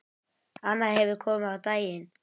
Annað hefur komið á daginn.